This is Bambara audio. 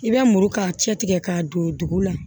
I bɛ muru ka cɛ tigɛ k'a don dugu la